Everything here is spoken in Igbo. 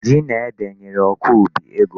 Ji na ede nyere ọkọubi ego.